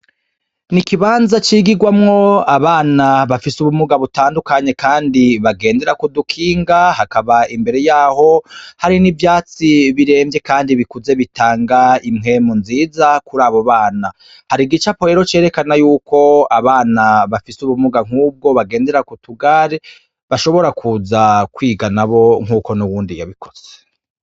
N'ikibaza cigirwamwo abana bafise ubumunga bitadukanye kandi bagendara kudukiga, hakaba imbere yabo n'ivyatsi birevye kandi bikuze bitaga umpwemu nziza kurabo bana, har'igacapo cerekana yuko abana bafise ubumunga nkubwo bagendera kutugari bashobora kuza kwiga nkuko uwundi yabikoze.